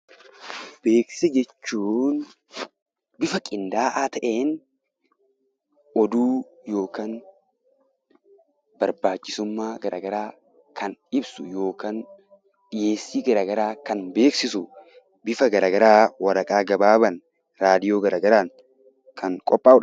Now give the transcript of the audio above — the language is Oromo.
Beeksisa jechuun bifa qindaa'aa ta'een oduu yookaan barbaachisummaa gara garaa kan ibsu yookaan dhiyeessii gara garaa kan beeksisu bifa gara garaa waraqaa gabaabaan, raadiyoo gara garaan kan qophaa'udha.